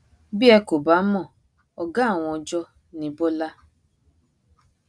bí ẹ kò bá mọ ọgá àwọn ọjọ ní bọlá